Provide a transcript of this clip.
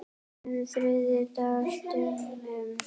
um þriðja dags dömum.